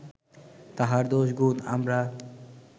তাহার দোষ গুণ আমরা